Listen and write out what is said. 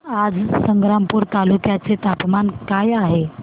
आज संग्रामपूर तालुक्या चे तापमान काय आहे